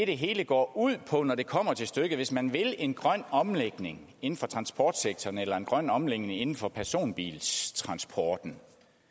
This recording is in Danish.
det hele går ud på når det kommer til stykket hvis man vil en grøn omlægning inden for transportsektoren eller en grøn omlægning inden for personbiltransporten